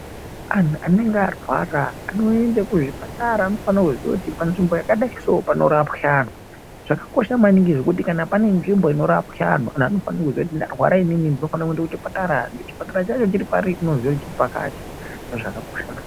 Antuanenge arwara anoende kuzvipatara anofanire kuzviya kuti panzvimbo yakadai soo panorapwa antu. Zvakakosha maningi kuti panenzvimbo inorapwa antu vantu vanofanire kuziye kuti ndarwara inini ndofanira kuende kuchipatara. Chipatara chacho chiri pari unofanira kuzviya kuti chiripakati zvakakosha maningi.